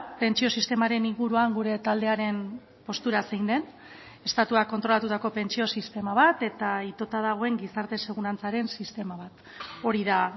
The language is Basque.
pentsio sistemaren inguruan gure taldearen postura zein den estatuak kontrolatutako pentsio sistema bat eta itota dagoen gizarte segurantzaren sistema bat hori da